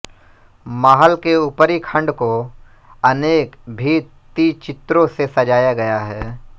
महल के ऊपरी खंड को अनेक भित्तिचित्रों से सजाया गया है